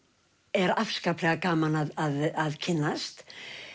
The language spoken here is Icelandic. er afskaplega gaman að kynnast